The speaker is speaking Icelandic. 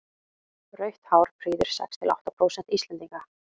rautt hár prýðir sex til átta prósent íslendinga